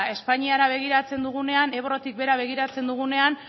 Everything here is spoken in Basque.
espainiara begiratzen dugunean ebrotik behera begiratzen dugunean